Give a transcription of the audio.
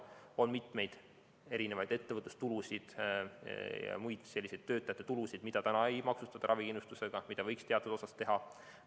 On mitmeid ettevõtlustulusid ja muid töötajate tulusid, mida ei maksustata ravikindlustusmaksuga, mida võiks teatud osas teha.